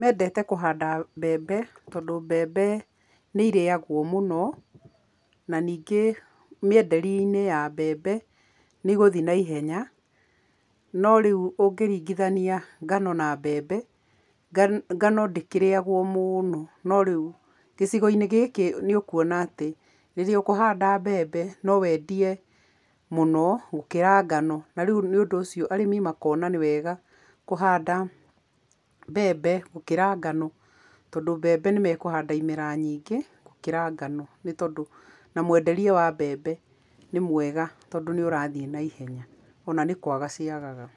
Mendete kũhanda mbembe tondũ mbembe nĩirĩagwo mũno, na ningĩ mĩenderi-inĩ ya mbembe, nĩ igũthiĩ na ihenya, no rĩu ũngĩringithania ngano na mbembe, ngano ndĩkĩrĩagwo mũno, no rĩu gĩcigo-inĩ gĩkĩ nĩ ũkuona atĩ, rĩrĩa ũkũhanda mbembe, no wendie mũno gũkĩra ngano, na rĩu nĩ ũndũ ũcio arĩmi makona nĩ wega kũhanda mbembe gũkĩra ngano tondũ mbembe nĩmekũhanda imera nyingĩ gũkĩra ngano nĩ tondũ, na mwenderie wa mbembe nĩ mwega tondũ nĩũrathiĩ na ihenya, o na nĩ kwaga ciagaga.